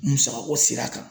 Musakako sira kan